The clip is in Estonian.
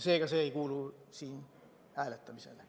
Seega ei kuulu see hääletamisele.